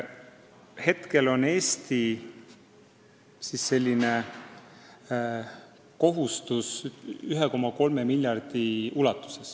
Praegu on Eesti kohustus 1,3 miljardit.